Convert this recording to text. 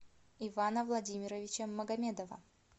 ивана владимировича магомедова